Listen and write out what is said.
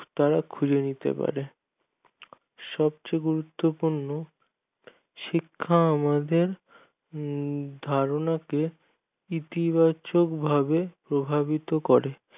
তারা খুঁজে নিতে পারে সব চেয়ে গুরুত্বপূর্ণ শিক্ষা আমাদের ধারণাকে ইতিবাচক ভাবে প্রভাবিত করে